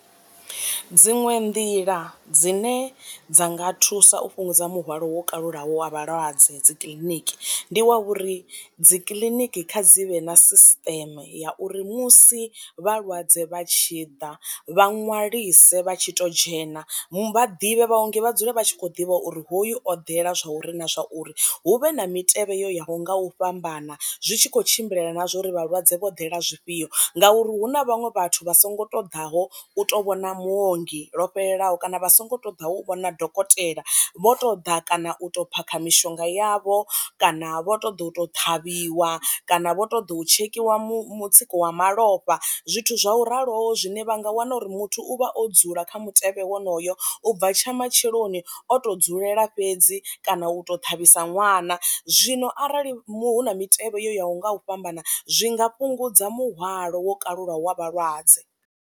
Dziṅwe nḓila dzine dza nga thusa u fhungudza muhwalo wo kalulaho wa vhalwadze dzi kiḽiniki, ndi wa uri dzi kiḽiniki kha dzi vhe na sisiṱeme ya uri musi vhalwadze vha tshi ḓa vha ṅwalise vha tshi to dzhena vha ḓivhe vhaongi vha dzule vha tshi kho ḓivha uri hoyu oḓela zwa uri na zwa uri hu vhe na mitevhe yo yaho nga u fhambana zwi tshi kho tshimbilelana na zwa uri vhalwadze vho dalela zwifhio ngauri hu na vhaṅwe vhathu vha songo ṱoḓaho u to vhona mu ongi lwo fhelelaho kana vha songo to ḓaho u vhona dokotela vho to ḓa kana u to phakha mishonga yavho, kana vho ṱoḓa u to ṱhavhiwa, kana vho ṱoḓa u tshekhiwa mutsiko wa malofha, zwithu zwa u raloho zwine vha nga a wana uri muthu u vha o dzula kha mutevhe wonoyo u bva tsha matsheloni o to dzulela fhedzi kana u to ṱhavhis ṅwana. Zwino arali hu na mitevhe ya u nga u fhambana zwi nga fhungudza muhwalo wo kalula wa vhalwadze.